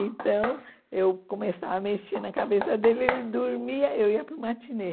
Então, eu começava a mexer na cabeça dele, ele dormia, eu ia para o matinê.